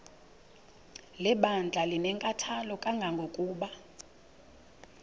lebandla linenkathalo kangangokuba